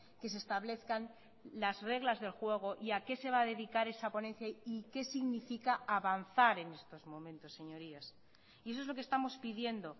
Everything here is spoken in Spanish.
que se establezcan las reglas del juego y a qué se va a dedicar esa ponencia y qué significa avanzar en estos momentos señorías y eso es lo que estamos pidiendo